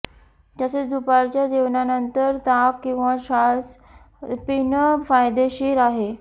तसेच दुपारच्या जेवणानंतर ताक किंवा छास पिणं फायदेशीर आहे